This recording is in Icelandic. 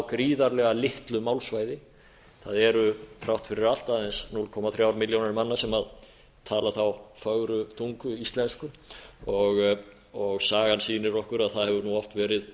gríðarlega litlu málsvæði það eru þrátt fyrir allt aðeins núll komma þrjár milljónir manna sem tala þá fögru tungu íslensku sagan sýnir okkur að það hefur nú oft verið